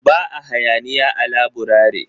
Ba a hayaniya a laburare